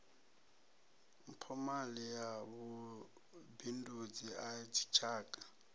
mphomali ya vhubindudzi ha dzitshaka